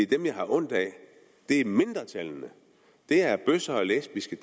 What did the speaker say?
dem jeg har ondt af er mindretallene det er bøsser og lesbiske